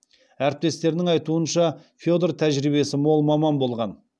әріптестерінің айтуынша федор тәжірибесі мол маман болған